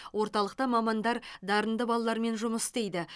орталықта мамандар дарынды балалармен жұмыс істейді